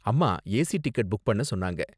அம்மா AC ticket book பண்ண சொன்னாங்க.